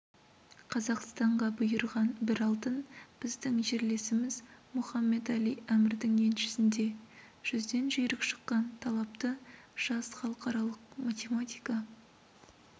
қазақстанға бұйырған бір алтын біздің жерлесіміз мохаммед-әли әмірдің еншісінде жүзден жүйрік шыққан талапты жас халықаралық математика